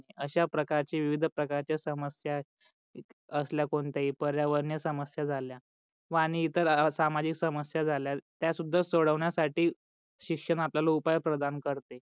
अश्या प्रकारचे विविध प्रकारचे समस्या असल्या कोणत्या ही पर्यावरण समस्या झाल्या वाणी इतर सामाजिक समस्या झाल्या त्या सुद्धा समस्या सोडवण्या साठी शिक्षण आपल्या उपाय प्रधान करते.